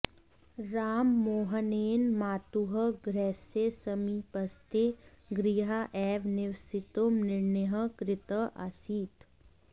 राममोहनेन मातुः गृहस्य समीपस्थे गृहे एव निवसितुं निर्णयः कृतः आसीत्